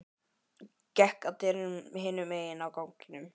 Gekk að dyrum hinum megin á ganginum.